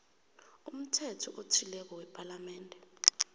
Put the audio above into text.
umthetho othileko wepalamende